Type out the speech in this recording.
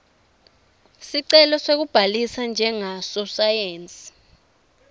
sicelo sekubhalisa njengasosayensi